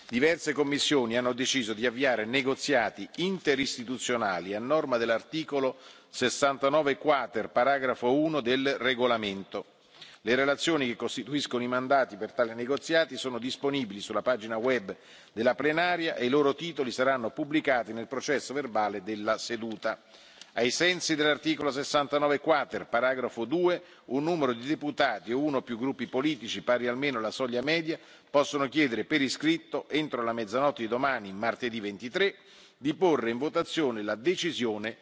Diverse commissioni hanno deciso di avviare negoziati interistituzionali a norma dell'articolo 69 quater, paragrafo 1, del regolamento. Le relazioni, che costituiscono i mandati per tali negoziati, sono disponibili sulla pagina web della plenaria e i loro titoli saranno pubblicati nel processo verbale della seduta. Ai sensi dell'articolo 69 quater, paragrafo 2, un numero di deputati o uno o più gruppi politici pari almeno alla soglia media possono chiedere per iscritto, entro la mezzanotte di domani, martedì 23 ottobre 2018, di porre in votazione la decisione